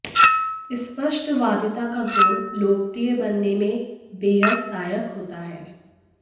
स्पष्टवादिता का गुण लोकप्रिय बनने में बेहद सहायक होता है